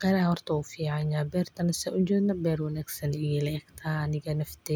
kara harraad iyo diyaarad.